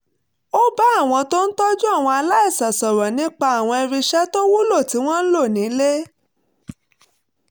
ó bá àwọn tó ń tọ́jú àwọn aláìsàn sọ̀rọ̀ nípa àwọn irinṣẹ́ tó wúlò tí wọ́n ń lò nílé